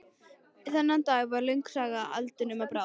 Þennan dag varð löng saga eldinum að bráð.